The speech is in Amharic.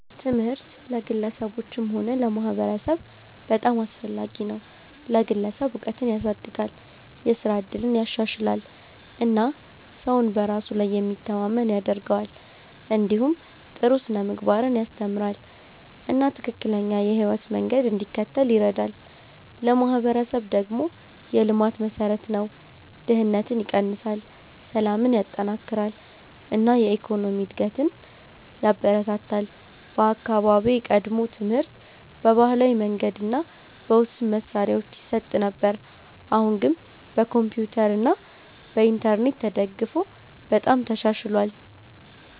ትምህርት ለግለሰቦችም ሆነ ለማህበረሰብ በጣም አስፈላጊ ነው። ለግለሰብ እውቀትን ያሳድጋል፣ የስራ እድልን ያሻሽላል እና ሰውን በራሱ ላይ የሚተማመን ያደርገዋል። እንዲሁም ጥሩ ስነ-ምግባርን ያስተምራል እና ትክክለኛ የህይወት መንገድ እንዲከተል ይረዳል። ለማህበረሰብ ደግሞ የልማት መሠረት ነው፤ ድህነትን ይቀንሳል፣ ሰላምን ያጠናክራል እና የኢኮኖሚ እድገትን ያበረታታል። በአካባቢዬ ቀድሞ ትምህርት በባህላዊ መንገድ እና በውስን መሳሪያዎች ይሰጥ ነበር፣ አሁን ግን በኮምፒውተር እና በኢንተርኔት ተደግፎ በጣም ተሻሽሏል።